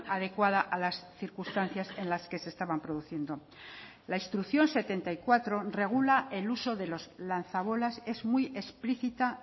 adecuada a las circunstancias en las que se estaban produciendo la instrucción setenta y cuatro regula el uso de los lanzabolas es muy explícita